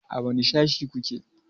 A wane Sashe ku ke?